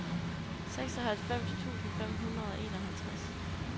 seksoghalvfems tusind fem hundrede og enoghalvtreds